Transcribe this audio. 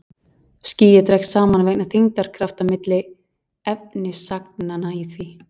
Skýið dregst saman vegna þyngdarkrafta milli efnisagnanna í því.